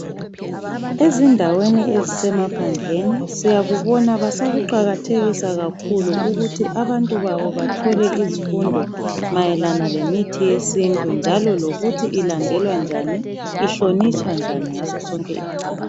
Ezindaweni ezisemaphandleni siyakubona basakuqakathekisa kakhulu ukuthi abantu babo bathole izifundo mayelana lemithi yesintu njalo lokuthi ilandelwa njani, ihlonitshwa njani ngasosonke.